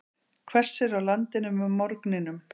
Hvessir á landinu með morgninum